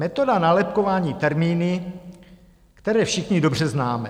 Metoda nálepkování termíny, které všichni dobře známe.